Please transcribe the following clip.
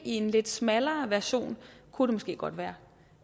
i en lidt smallere version kunne det måske godt være